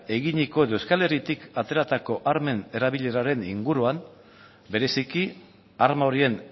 eginiko edo euskal herritik ateratako armen erabileraren inguruan bereziki arma horien